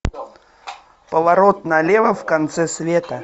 поворот налево в конце света